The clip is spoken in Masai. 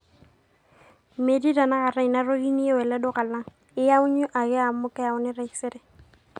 metii tenakata ina toki niyieu ele duka lang, iyanyu ake amu lkeyauni taisere